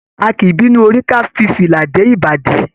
A kìí bínú orí ká fí fìlà dé ìbàdí.